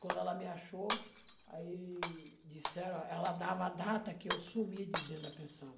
Quando ela me achou, aí disseram, ela dava a data que eu sumi de dentro da pensão.